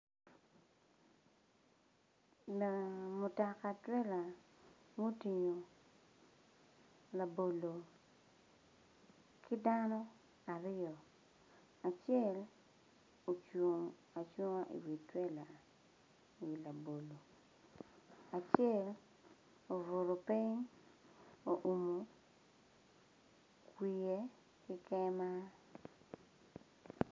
Naa mutaka twella mutingu labolo ki dano aryo acel ocung acunga iwi twella iwi labolo acel obutu piny oumu wiye ki kema